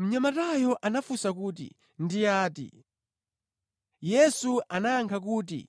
Mnyamatayo anamufunsa kuti, “Ndi ati?” Yesu anayankha kuti,